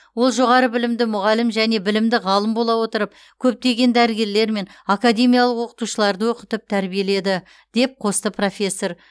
ол жоғары білімді мұғалім және білімді ғалым бола отырып көптеген дәрігерлер мен академиялық оқытушыларды оқытып тәрбиеледі деп қосты профессор